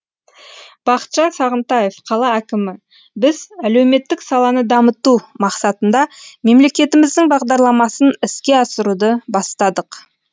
бақытжан сағынтаев қала әкімі біз әлеуметтік саланы дамыту мақсатында мемлекетіміздің бағдарламасын іске асыруды бастадық